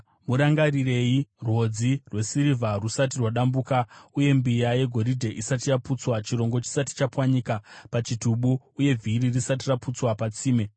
Murangarirei, rwodzi rwesirivha rusati rwadambuka; uye mbiya yegoridhe isati yaputswa; chirongo chisati chapwanyika pachitubu, uye vhiri risati raputswa patsime,